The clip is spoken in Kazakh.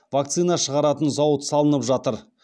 вакцина шығаратын зауыт салынып жатыр